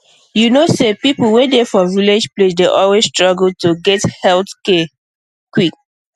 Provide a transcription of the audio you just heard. you know say people wey dey for village place dey always struggle to get health care care quick